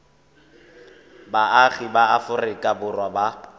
baagi ba aforika borwa ba